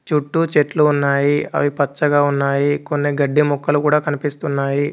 చుట్టూ చెట్లు ఉన్నాయి అవి పచ్చగ ఉన్నాయి కొన్ని గడ్డి మొక్కలు కూడా కనిపిస్తున్నాయి.